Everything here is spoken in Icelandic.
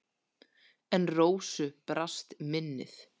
En Rósu brast minnið.